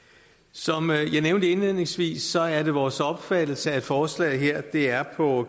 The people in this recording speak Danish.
som jeg nævnte indledningsvis er det vores opfattelse at forslaget her er på